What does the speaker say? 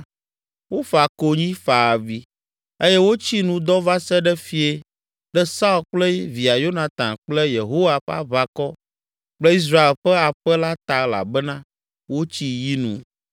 Wofa konyi, fa avi eye wotsi nu dɔ va se ɖe fiẽ ɖe Saul kple via Yonatan kple Yehowa ƒe aʋakɔ kple Israel ƒe aƒe la ta elabena wotsi yi nu.